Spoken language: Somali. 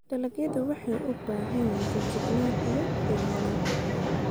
Dalagyadu waxay u baahan yihiin feejignaan iyo ilaalin.